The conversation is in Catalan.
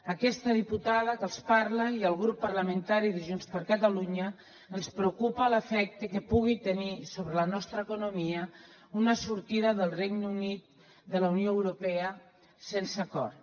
a aquesta diputada que els parla i al grup parlamentari de junts per catalunya ens preocupa l’efecte que pugui tenir sobre la nostra economia una sortida del regne unit de la unió europea sense acord